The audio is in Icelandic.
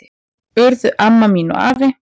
Urðu amma mín og afi.